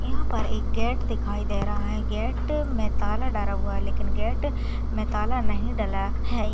यहाँ पर एक गेट दिखाई दे रहा है गेट में ताला डरा हुआ है लेकिन गेट में ताला नहीं डला हैं।